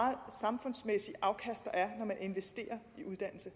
samfundsmæssigt afkast der er når man investerer i uddannelse